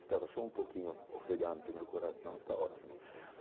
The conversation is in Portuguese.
Estava só um pouquinho ofegante, meu coração, tá ótimo.